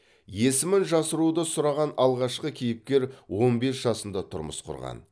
есімін жасыруды сұраған алғашқы кейіпкер он бес жасында тұрмыс құрған